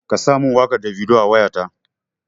Ka sa min wakar Davido a wayata!